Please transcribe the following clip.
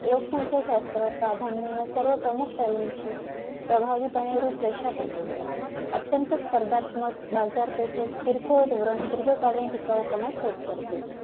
लोकसंख्या शास्त्र प्राधान्य या सर्व प्रमुख पेहेलूची प्रभावीपणे रूपरेषा देते अत्यंत स्पर्धत्मक बजार पेठेत किरकोळ धोरण दीर्घकाळ ठिकावू पण set करते